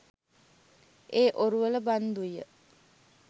ඒ ඔරුවල බන්දු ය.